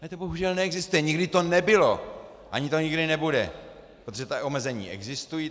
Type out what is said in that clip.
Ale to bohužel neexistuje, nikdy to nebylo ani to nikdy nebude, protože ta omezení existují.